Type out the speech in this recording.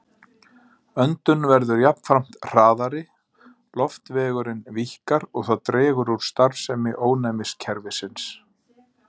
Öndun verður jafnframt hraðari, loftvegurinn víkkar og það dregur úr starfsemi ónæmiskerfisins.